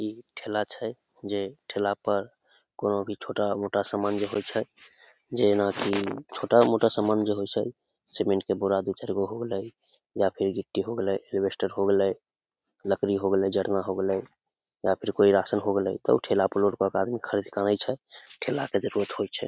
इ ठेला छै जे ठेला पर कोनो भी छोटा मोटा सामान जे होय छै जेना की छोटा मोटा समान जे होय छै सीमेंट के बोरा दू-चार गो हो गलय या फिर गिटी हो गलय अलवेस्टर हो गलय लकड़ी हो गलय जरणा हो गलय या फिर रासन हो गलय तो ठेला पर लोड क आदमी ख़रीद कर लाने छै ठेला के जरुरत होय छै ।